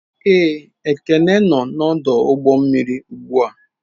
Ee, Ekene nọ n'ọdụ ụgbọ mmiri ugbu a.